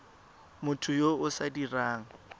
motho yo o sa dirang